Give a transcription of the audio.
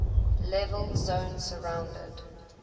level zone surrounded